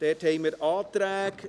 Wir haben Anträge